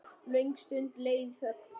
Löng stund leið í þögn.